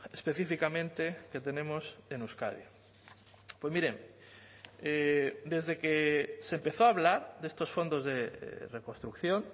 específicamente que tenemos en euskadi pues mire desde que se empezó a hablar de estos fondos de reconstrucción